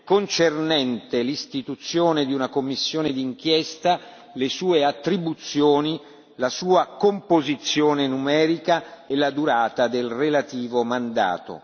concernente l'istituzione di una commissione di inchiesta, le sue attribuzioni, la sua composizione numerica e la durata del relativo mandato.